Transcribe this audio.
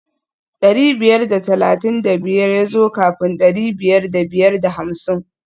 Dari biyar da talatin da biyar ya zo kafin dari biyar da biyar da hamsin